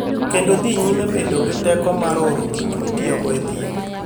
kendo dhi nyime bedo gi teko mar oro gik mitiyogo e thieth.